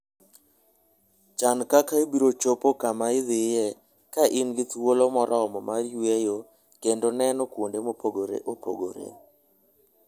Chan kaka ibiro chopo kama idhiye ka in gi thuolo moromo mar yueyo kendo neno kuonde mopogore opogore.